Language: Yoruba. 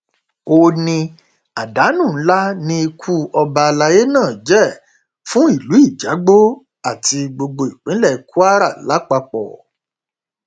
ó ní àdánù ńlá ni ikú ọba alayé náà jẹ fún ìlú ijagbó àti gbogbo ìpínlẹ kwara lápapọ